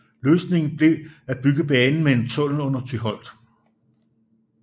Løsningen blev at bygge banen med en tunnel under Tyholt